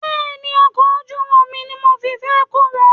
Bẹ́ẹ̀ni, Ọkọ̀ ojú omi ni mo fi fẹ́ kó wọn.